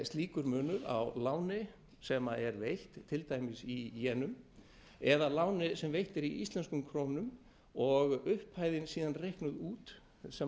slíkur munur á láni sem er veitt til dæmis í jenum eða láni sem veitt er í íslenskum krónum og upphæðin síðan reiknuð út sem